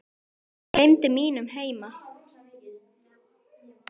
Ég gleymdi mínum heima